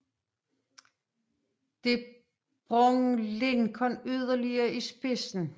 Det bragte Lincoln yderligere i spidsen